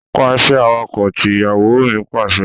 Pa iṣẹ́ awakọ̀ tí! Ìyàwó mi Pàṣẹ.